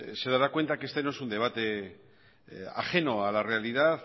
se dará cuenta que este no es un debate ajeno a la realidad